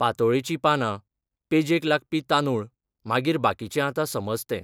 पातोळेची पानां, पेजेक लागपी तांदूळ, मागीर बाकीचें आतां समज तें